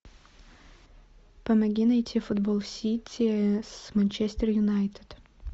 помоги найти футбол сити с манчестер юнайтед